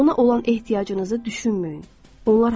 Ona olan ehtiyacınızı düşünməyin.